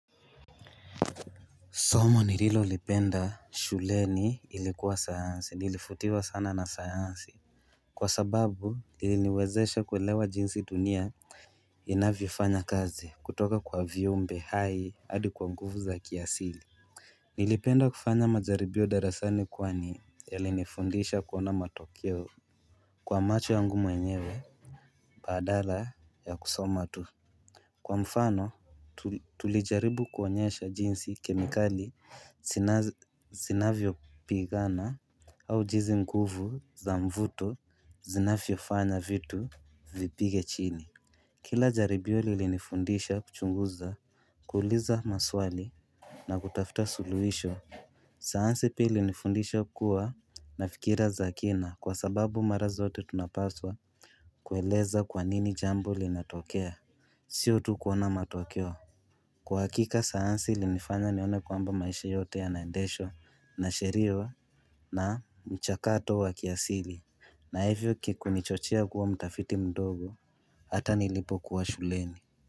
Somo nililo lipenda shuleni ilikuwa sayansi nilifutiwa sana na sayansi Kwa sababu niliniwezesha kuwelewa jinsi dunia Inavyofanya kazi kutoka kwa viumbe hai adi kwa nguvu za kiasili Nilipenda kufanya majaribio darasani kwani yale nifundisha kuona matokeo Kwa macho ya ngu mwenyewe badala ya kusoma tu Kwa mfano tulijaribu kuonyesha jinsi kemikali zinavyo pigana au jizi nguvu za mvuto zinafyo fanya vitu vipige chini Kila jaribio lilinifundisha kuchunguza kuuliza maswali na kutafta suluhisho sayansi pili ilinifundisha kuwa nafikira zakina kwa sababu mara zote tunapaswa kueleza kwanini jambo linatokea Sio tu kuona matokeo Kwa hakika sayansi ili nifanya nione kwamba maisha yote ya naendeshwa na sheria na mchakato wa kiasili na hivyo kikunichochea kuwa mtafiti mdogo hata nilipo kuwa shuleni.